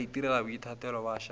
ba itirela boithatelo ba šalela